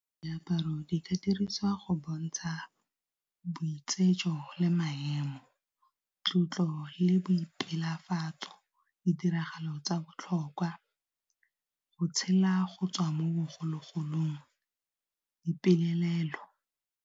Diaparo di ka dirisiwa go bontsha boitsejo le maemo, tlotlo le boipelo tshabafatso ditiragalo tsa botlhokwa go tshela go tswa mo bogologolong dipelaelo.